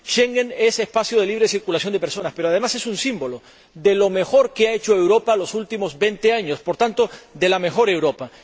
Schengen es un espacio de libre circulación de personas, pero además es un símbolo de lo mejor que ha hecho Europa en los últimos 20 años, por tanto, de la mejor Europa.